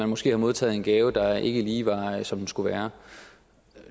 måske har modtaget en gave der ikke lige var som den skulle være